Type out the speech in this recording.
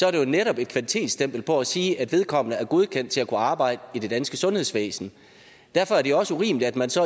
er det jo netop et kvalitetsstempel og for at sige at vedkommende er godkendt til at kunne arbejde i det danske sundhedsvæsen derfor er det også urimeligt at man så